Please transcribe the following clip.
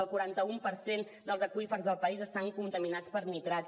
un quaranta un per cent dels aqüífers del país estan contaminats per nitrats